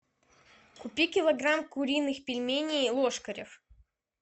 купи килограмм куриных пельменей ложкарев